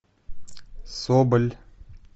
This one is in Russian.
соболь